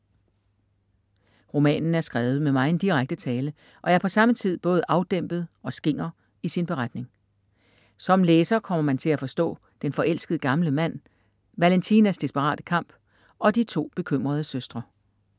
Romanen er skrevet med megen direkte tale og er på samme tid både afdæmpet og skinger i sin beretning. Som læser kommer man til forstå den forelskede gamle mand, Valentinas desperate kamp og de to bekymrede søstre.